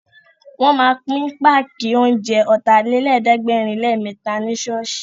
Wọ́n ma pín páàkì oúnjẹ Ọ̀tàlélẹ̀ẹ́dẹ́gbẹ̀rinlémẹ́ta ní ṣọ́ọ̀ṣì